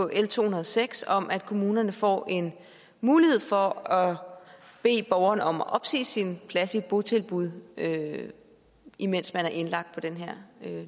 l to hundrede og seks om at kommunerne får en mulighed for at bede borgeren om at opsige sin plads i et botilbud imens man er indlagt på den her